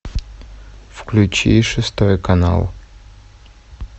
включи шестой канал